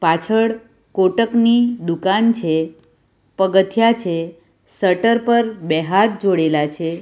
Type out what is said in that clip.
પાછળ કોટક ની દુકાન છે પગથિયાં છે શટર પર બે હાથ જોડેલા છે.